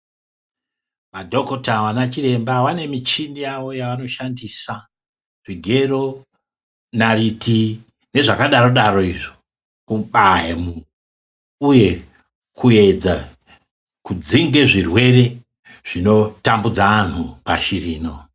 Madhokota ana chiremba vane michini yavo yevanoshandisa zvigero, naiti nezvakadaro-daro izvo kubaya uye kuyedza kudzinge zvirwere zvinotambudze anthu pashi rino.